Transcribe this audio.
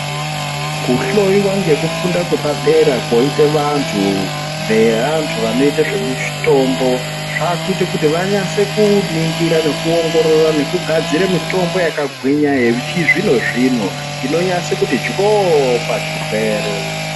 Kuhloyiwa ngekufunda kwepadera kwoite vantu veantu vanoite zvemutombo zvaakuite kuti vanyatse kuningira nekuongorora nekugadzire mitombo yakagwinya yechizvino-zvino, inonyatse kuti dyo-o pazvirwere.